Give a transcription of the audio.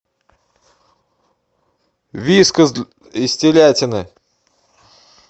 вискас из телятины